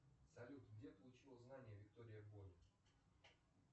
салют где получила знания виктория боня